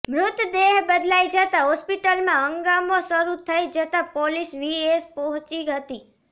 મૃતદેહ બદલાઈ જતાં હોસ્પિટલમાં હંગામો શરુ થઈ જતાં પોલીસ વીએસ પહોંચી હતી